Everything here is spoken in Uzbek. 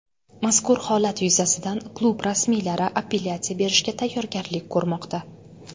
Mazkur holat yuzasidan klub rasmiylari apellyatsiya berishga tayyorgarlik ko‘rmoqda.